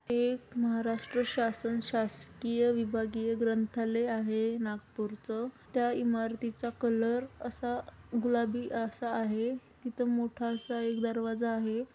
हे एक महाराष्ट्र शासन शासकीय विभागीय ग्रंथालय आहे नागपूरचं. त्या इमारतीचा कलर असा गुलाबी असा आहे. तिथं मोठासा असा एक दरवाजा आहे.